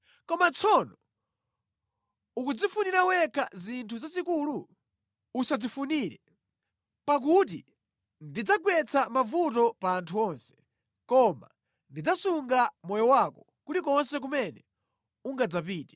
Kodi tsono ukudzifunira wekha zinthu zazikulu? Usadzifunire. Pakuti ndidzagwetsa mavuto pa anthu onse, koma ndidzasunga moyo wako kulikonse kumene ungadzapite.”